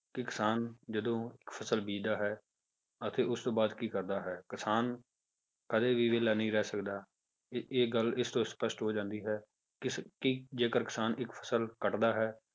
ਕਿ ਕਿਸਾਨ ਜਦੋਂ ਫਸਲ ਬੀਜਦਾ ਹੈ ਅਤੇ ਉਸ ਤੋਂ ਬਾਅਦ ਕੀ ਕਰਦਾ ਹੈ ਕਿਸਾਨ ਕਦੇ ਵੀ ਵਿਹਲਾ ਨਹੀਂ ਰਹਿ ਸਕਦਾ ਇਹ ਇਹ ਇਸ ਤੋਂ ਸਪਸ਼ਟ ਹੋ ਜਾਂਦੀ ਹੈ ਕਿਸ ਕਿ ਜੇਕਰ ਕਿਸਾਨ ਇੱਕ ਫਸਲ ਕੱਟਦਾ ਹੈ,